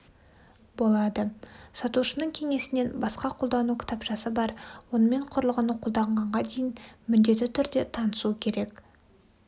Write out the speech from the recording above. болады сатушының кеңесінен басқа қолдану кітапшасы бар онымен құрылғыны қолданғанға дейін міндетті түрде танысу керек